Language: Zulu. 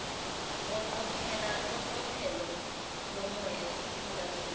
iqophelo lomoya esifundazweni